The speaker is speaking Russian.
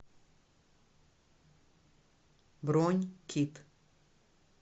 бронь кит